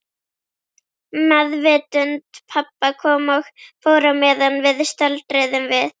Meðvitund pabba kom og fór á meðan við stöldruðum við.